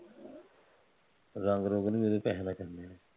ਰੰਗ ਰੁੰਗ ਨੂੰ ਵੀ ਉਹਦੇ ਪੈਸੇ ਲੱਗੇ